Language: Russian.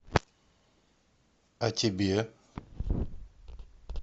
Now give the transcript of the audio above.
а тебе